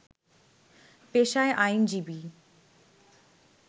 পেশায় আইনজীবী